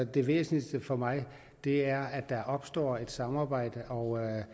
det væsentligste for mig er at der opstår et samarbejde og jeg